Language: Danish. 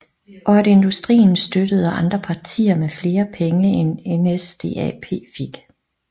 Og at industrien støttede andre partier med flere penge end NSDAP fik